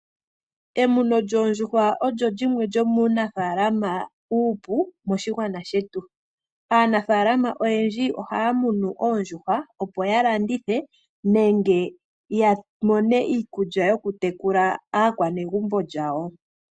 Emuno lyoondjuhwa olyo limwe lyomuunafaalama uupu moshigwana shetu. Aanafalama oyendji ohaya munu oondjuhwa opo yalandithe nenge yamone iikulya yokutekulitha aakwanegumbo lyawo.